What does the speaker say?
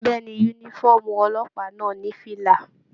Bẹ̀ẹ́ni, yúnífọ̀ọ́mù ọlọ́pàá náà ní fìlà.